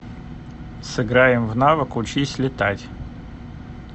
сыграем в навык учись летать